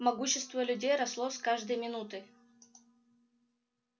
могущество людей росло с каждой минутой